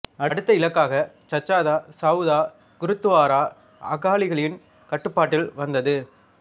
அடுத்த இலக்காக சச்சா சவுதா குருத்துவாரா அகாலிகளின் கட்டுப்பாட்டில் வந்தது